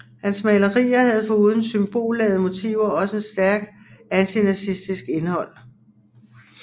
Hans malerier havde foruden symbolladede motiver også et stærk antinazistisk indhold